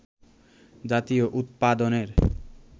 জাতীয় উৎপাদনের